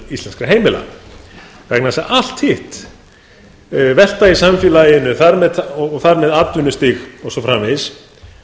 íslenskra heimila vegna þess að allt hitt velta í samfélaginu og þar með atvinnustig og svo framvegis